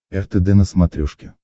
ртд на смотрешке